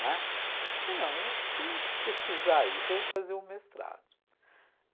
Não, é? Falei, não, eu tenho que pesquisar isso, vou fazer um mestrado.